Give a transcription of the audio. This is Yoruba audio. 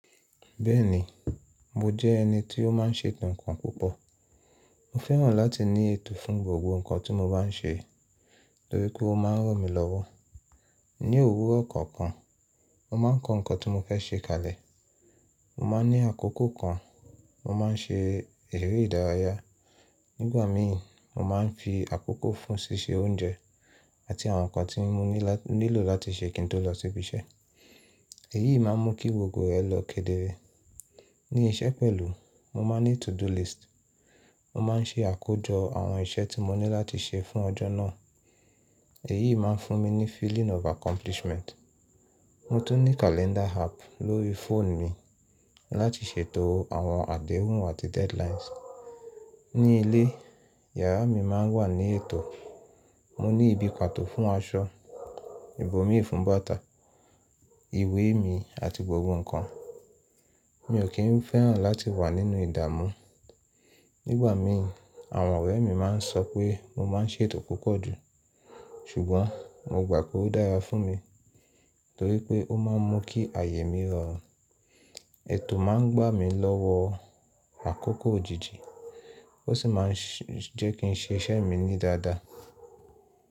Bẹ́ẹ̀ni, mo jẹ́ ẹni tí ó má ń ṣètò ǹkan púpọ̀. Mo fẹ́ràn láti ní ètò fún gbogbo ǹkan tí mo bá n ṣe torí pé ó má ń ràn mí lọ́wọ́. Ni òwúrọ̀ kọ̀ọ̀kan, mo má ń kọ ǹkan tí mo fẹ́ ṣe kalẹ̀. Mo má n ní àkókò kan mo má n ṣe eré ìdárayá. Nígbà mi mo má n fi àkókò fún ṣíṣe oúnjẹ àti àwọn ǹkan tí mo nílò láti ṣe kí n tó lọ sí ibi iṣẹ́. Èyí má n mú kí gbogbo rẹ̀ lọ́ kedere. Ni iṣẹ́ pẹ̀lú mo má n ní to do list. Mo má n ṣe àkójọ àwọn iṣẹ́ tí mo ní láti ṣe fún ọjọ́ náà. Èyí má n fún mi ní feeling of accomplishment. Mo tún ní calendar app lórí fóònù mi láti ṣètò àwọn àdéhùn àti deadlines. Ni ilé, yàrá mi má n wà ní ètò. Mo ní ibi pàtó fún aṣọ, ibomi fún bàtà, ìwé mi àti gbogbo ǹkan. Mi ò kí n fẹ́ràn láti wà nínú ìdààmú. Nígbà mi àwọn ọ̀rẹ́ mi má n sọ pé mo má n ṣètò púpọ̀ jù. Ṣùgbọ́n mo gbà pé ó dára fún mi torí pé ó má n mú kí àyè mi rọrùn. Ètò má n gbà mí lọ́wọ́ àkókò òjijì ó sì má n jẹ́ kí n ṣe iṣẹ́ mi ní dáadáa.